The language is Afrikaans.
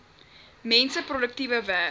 mense produktiewe werk